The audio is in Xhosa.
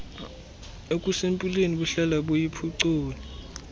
okusempilweni buhlala buyiphucula